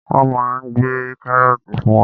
Wọ́n máa gbé kárọ́ọ̀tì fún wa.